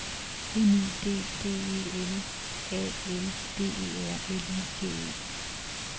M I D D E L A L D E R L I G E